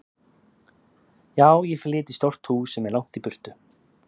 Já, ég flyt í stórt hús sem er langt í burtu.